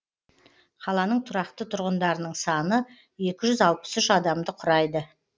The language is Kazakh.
қаланың тұрақты тұрғындарының саны екі жүз алпыс үш адамды құрайды